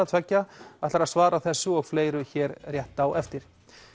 tveggja ætlar að svara þessu og fleiru hér rétt á eftir